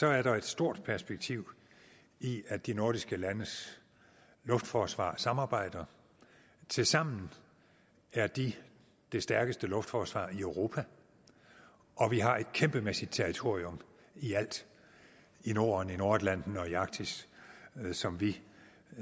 er der et stort perspektiv i at de nordiske landes luftforsvar samarbejder tilsammen er de det stærkeste luftforsvar i europa og vi har et kæmpemæssigt territorium i alt i norden i nordatlanten og i arktis som vi